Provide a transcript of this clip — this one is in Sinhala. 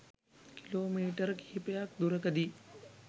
කිලෝමීටර කිහිපයක් දුරකදී